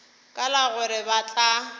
ka la gore ba tla